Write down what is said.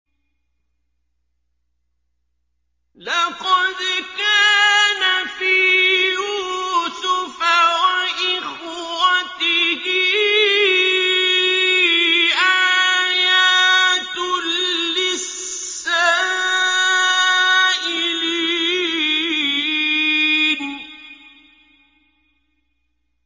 ۞ لَّقَدْ كَانَ فِي يُوسُفَ وَإِخْوَتِهِ آيَاتٌ لِّلسَّائِلِينَ